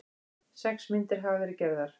Sex myndir hafa verið gerðar